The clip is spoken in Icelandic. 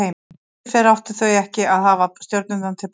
Sem betur fer áttu þau ekki að hafa stjörnurnar til prófs.